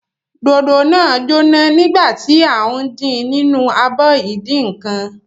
Dòdò jóná nígbà tí à ń din nínú abọ ìdínǹkan.